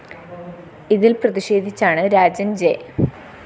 ഇതില്‍ പ്രതിഷേധിച്ചാണ് രാജന്‍ ജെ